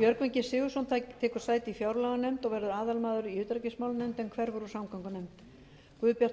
björgvin g sigurðsson tekur sæti í fjárlaganefnd og verður aðalmaður í utanríkismálanefnd en hverfur úr samgöngunefnd guðbjartur